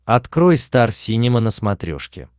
открой стар синема на смотрешке